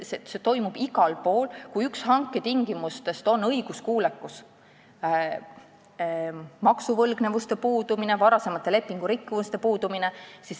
Seda tehakse igal pool, kui üks hanke tingimustest on õiguskuulekus, maksuvõlgnevuste ja varasemate lepingurikkumiste puudumine.